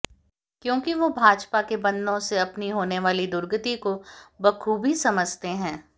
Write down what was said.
क्योंकि वो भाजपा के बंधनों से अपनी होने वाली दुर्गति को बख़ूबी समझते हैं